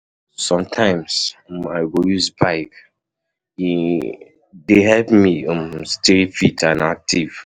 Sometimes um I go use bike; e um dey help me um stay fit and active.